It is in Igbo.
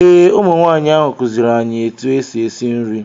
Ee ụmụ nwaanyị ahụ kụziiri anyị etu esi esi nri